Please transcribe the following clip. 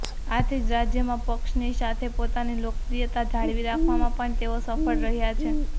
આથી જ રાજ્યમાં પક્ષની સાથે પોતાની લોકપ્રિયતા જાળવી રાખવામાં પણ તેઓ સફળ રહ્યા છે